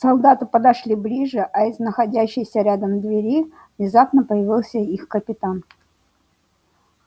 солдаты подошли ближе а из находящейся рядом двери внезапно появился их капитан